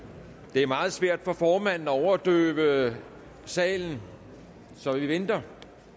det er meget svært for formanden at overdøve salen så vi venter